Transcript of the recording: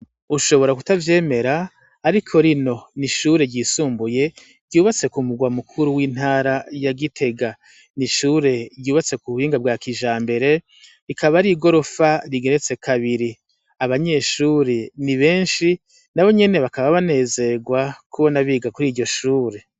Ushobora kutavyemera ari ko rino ni ishure ryisumbuye ryubatse ku mugwa mukuru w'intara ya gitega nishure ryubatse ku buhinga bwa kija mbere rikaba ari i gorofa rigeretse kabiri abanyeshuri ni benshi na bo nyene bakaba banezerwa kubona biga kuri iryo shure.